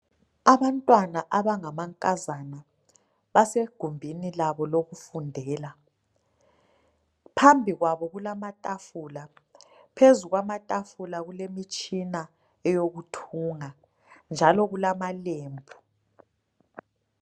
Abantwana abangamankazana basegumbini labo lokufundela phambi kwabo kulamatafula, phezu kwamatafula kulemitshina eyokuthunga njalo kulamalembu.